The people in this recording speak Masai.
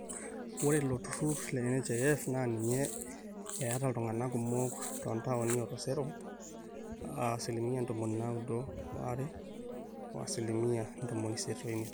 ore ilo turrur le nhif naa ninye eeta iltung'anak kumok toontaoni o tooseroi aa asilimia ntomoni naaudo waare o asilimia ntomoni isiet oimiet